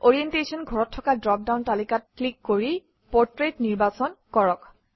orientation ঘৰত থকা drop down তালিকাত ক্লিক কৰি পোৰ্ট্ৰেইট নিৰ্বাচন কৰক